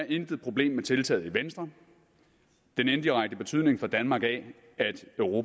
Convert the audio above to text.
intet problem med tiltaget den indirekte betydning for danmark af